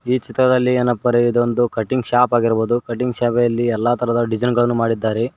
ಈ ಚಿತ್ರದಲ್ಲಿ ಏನಪ್ಪ ಅಂದ್ರೆ ಇದೊಂದು ಕಟಿಂಗ್ ಶಾಪ್ ಆಗಿರಬಹುದು ಕಟಿಂಗ್ ಶಾಪ್ ಅಲ್ಲಿ ಎಲ್ಲ ತರದ ಡಿಸೈನ್ ಗಳನ್ನು ಮಾಡಿದ್ದಾರೆ.